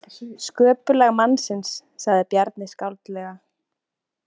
Sköpulag mannsins, sagði Bjarni skáldlega.